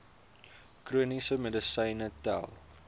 chroniese medisyne tel